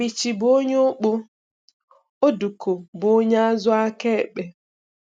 Bichi bụ onye ọkpọ; Oduko bụ onye azụ aka ekpe.